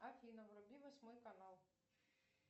афина вруби восьмой канал